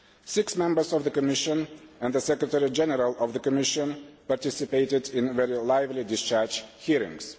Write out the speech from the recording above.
Six Members of the Commission and the Secretary General of the Commission participated in very lively discharge hearings.